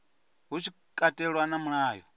hu tshi katelwa na mulayo